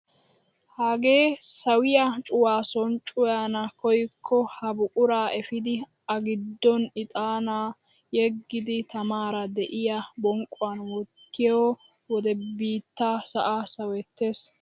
Hagee sawiyaa cuwaa soni cuwayana koyikko ha buquraa epiidi a giddon ixanaa yeggidi tamaara de'iyaa bonqquwaan wottiyoo wode bittaa sa'aa sawettees!